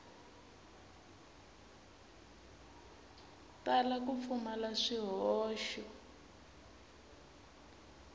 tala ku pfumala swihoxo ku